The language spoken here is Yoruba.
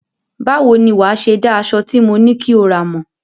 Báwo ni wàá ṣe dá aṣọ tí mo ní kí o rà mọ̀?